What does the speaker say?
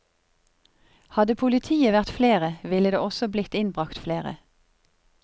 Hadde politiet vært flere, ville det også blitt innbragt flere.